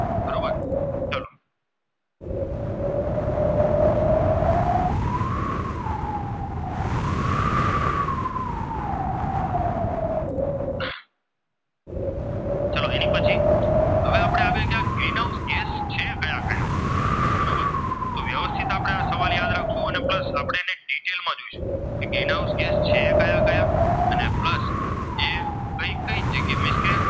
એ means કે